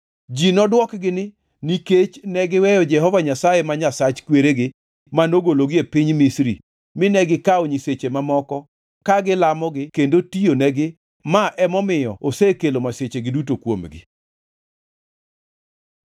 Ji nodwokgi ni, ‘Nikech negiweyo Jehova Nyasaye ma Nyasach kweregi manogologi e piny Misri mine gikawo nyiseche mamoko ka gilamogi kendo tiyonegi ma emomiyo osekelo masichegi duto kuomgi.’ ”